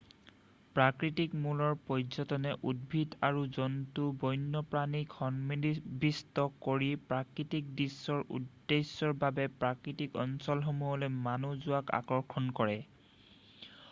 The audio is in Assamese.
প্ৰকৃতি-মূলৰ পৰ্য্যটনে উদ্ভিদ আৰু জন্তু বণ্যপ্ৰাণীক সন্নিৱিষ্ট কৰি প্ৰকৃতিক দৃশ্যৰ উদ্দেশ্যৰ বাবে প্ৰাকৃতিক অঞ্চলসমূহলৈ মানুহ যোৱাক আকৰ্ষণ কৰে৷